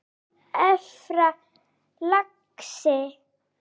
Sjáumst efra, lagsi!